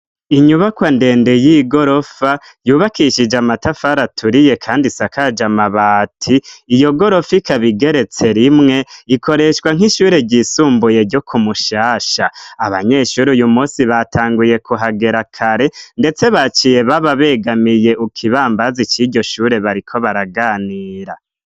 Inyubakwa ndende y'igorofa yubakishije amatafari aturiye kandi isakaj'amabati. Iyogorofa ikab'igeretse rimwe ikoreshwa nk'ishure ryisumbuye ryo kumushasha. Abanyeshure uyumusi batanguye kuhagera kare ndetse baciye baba begamiye ukibambazi c'iryoshure bariko baraganira.